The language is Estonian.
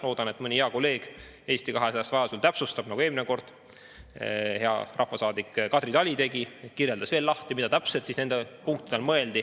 Loodan, et mõni hea kolleeg Eesti 200‑st vajaduse korral täpsustab, nagu eelmine kord hea rahvasaadik Kadri Tali tegi, kirjeldades, mida täpselt nende punktide all mõeldi.